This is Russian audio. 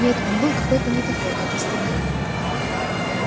нет он был какой-то не такой как остальные